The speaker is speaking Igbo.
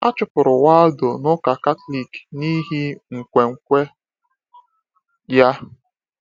A chụpụrụ Waldo n’Ụka Katọlik n’ihi nkwenkwe ya.